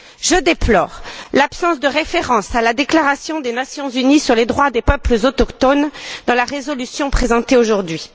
Je déplore l'absence de référence à la déclaration des Nations unies sur les droits des peuples autochtones dans la résolution présentée aujourd'hui.